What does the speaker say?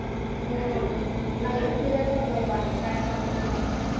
हम्म नाही ग पिल्या जात नाही पाणी काय सांगू तुला